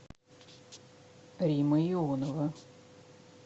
римма ионова